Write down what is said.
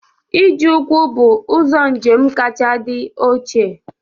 Ije ụkwụ be ụzọ njem kacha dị ochie